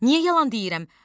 Niyə yalan deyirəm?